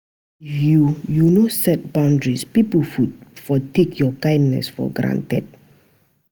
If yu no set boundaries, pipo for take yur kindness for granted.